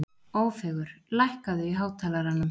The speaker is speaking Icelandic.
Ófeigur, lækkaðu í hátalaranum.